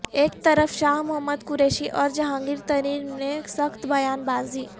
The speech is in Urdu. ایک طرف شاہ محمد قریشی اور جہانگیر ترین میں سخت بیان با زی